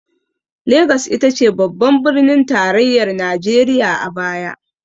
Lagos ita ce babban birnin tarayyar najeriya a baya.